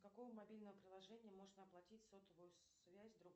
с какого мобильного приложения можно оплатить сотовую связь